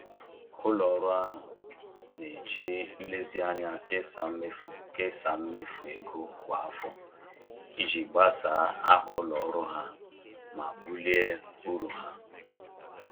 Ụlọ ọrụ ahụ na-eji nlezianya kesaa mmefu kesaa mmefu ego kwa afọ iji gbasaa aha ụlọ ọrụ ha ma bulie uru ha